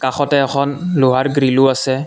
কাষতে এখন লোহাৰ গ্ৰিলো আছে।